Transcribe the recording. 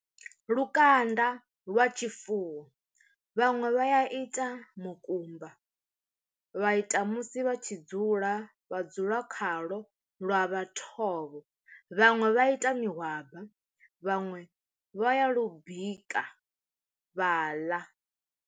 Lukanda lwa tshifuwo vhaṅwe vha ya ita mukumba, vha ita musi vha tshi dzula vha dzula khalo lwa vha thovho, vhaṅwe vha ita mihwaba vhaṅwe vha ya lu bika vha ḽa.